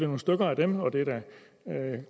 nogle stykker af dem og det er da